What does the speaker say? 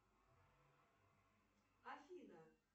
афина